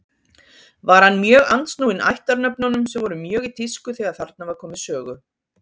Var hann mjög andsnúinn ættarnöfnunum sem voru mjög í tísku þegar þarna var komið sögu.